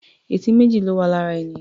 Etí méjì ló wà lára ènìyàn.